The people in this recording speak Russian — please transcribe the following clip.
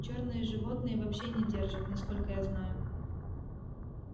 чёрные животные вообще не держат насколько я знаю